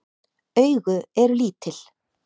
Augu eru lítil.